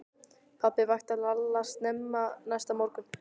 Pabbi vakti Lalla snemma næsta morgun.